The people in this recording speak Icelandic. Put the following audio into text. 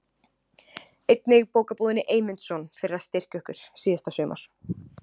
Einnig Bókabúðinni Eymundsson fyrir að styrkja okkur síðasta sumar.